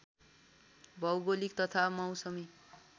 भौगोलिक तथा मौसमी